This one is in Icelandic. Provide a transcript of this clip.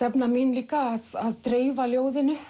stefna mín líka að dreifa ljóðinu